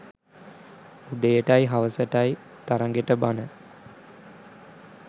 උදේටයි හවසටයි තරගෙට බණ